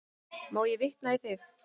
Má ég vitna í þig?